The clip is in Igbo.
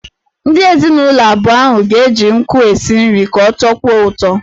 Ndị ezinụlọ abụọ ahụ ga-eji nkụ esi nri ka ọ tọkwuo ụtọ.